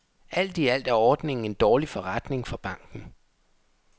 Alt i alt er ordningen en dårlig forretning for banken.